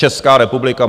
Česká republika!